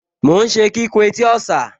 Mò ún ṣe kíkùn etí ọ̀sà